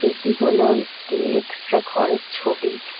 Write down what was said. এটি হলো একটি এক্সরে ঘরের ছবি ।